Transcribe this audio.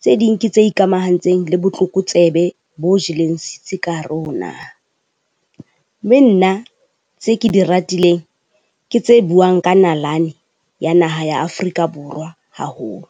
tse ding ke tse ikamahantseng le botlokotsebe bo jeleng setsi ka hare ho naha. Mme nna tse ke di ratileng, ke tse buang ka nalane ya naha ya Afrika Borwa haholo.